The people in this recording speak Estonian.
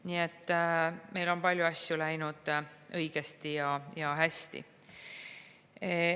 Nii et meil on palju asju läinud õigesti ja hästi.